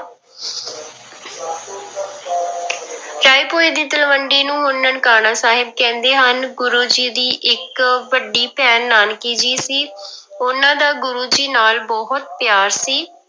ਰਾਏਭੋਇ ਦੀ ਤਲਵੰਡੀ ਨੂੰ ਹੁਣ ਨਨਕਾਣਾ ਸਾਹਿਬ ਕਹਿੰਦੇ ਹਨ, ਗੁਰੂ ਜੀ ਦੀ ਇੱਕ ਵੱਡੀ ਭੈਣ ਨਾਨਕੀ ਜੀ ਸੀ ਉਹਨਾਂ ਦਾ ਗੁਰੂ ਜੀ ਨਾਲ ਬਹੁਤ ਪਿਆਰ ਸੀ।